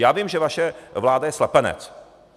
Já vím, že vaše vláda je slepenec.